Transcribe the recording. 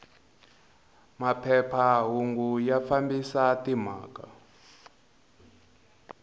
maphepha hungu ya fambisa timhaka